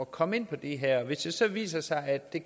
komme ind på det her hvis det så viser sig at de